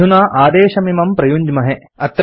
अधुना आदेशमिमं प्रयुञ्ज्महे